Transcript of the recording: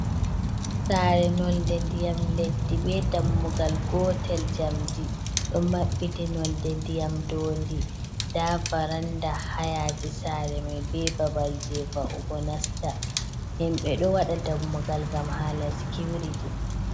Sare nonde ndiyam leddi be dammugal gotel, jamdi ɗo mabbiti, nonde ndiyam dondi da varanda hayasi sare mai be babal je va’ugo nasta himbe do wada dammugal gam hala sicuriti.